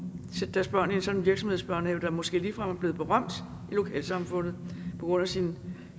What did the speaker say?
sætte deres børn i en sådan virksomhedsbørnehave der måske ligefrem er blevet berømt i lokalsamfundet på grund af sin